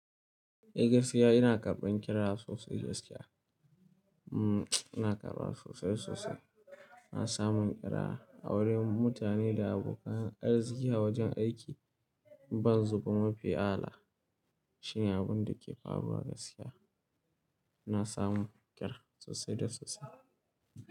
Eh gaskiya ina karɓan kira sosai gaskiya. Ummm ina karɓa sosai sosai. Ina samun kira, aure, mutane da abokan arziki a wajen aiki, ban zuba mafi ala. Shine abun da ke faruwa gaskiya. Ina samun kira sosai da sosai.